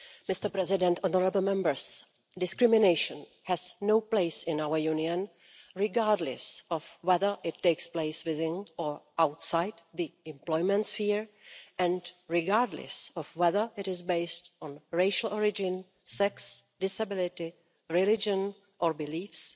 Mr President, honourable Members, discrimination has no place in our Union, regardless of whether it takes place within or outside the employment sphere, and regardless of whether it is based on racial origin, sex, disability, religion or beliefs,